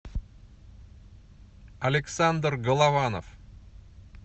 александр голованов